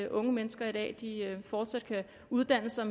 unge mennesker i dag fortsat kan uddanne sig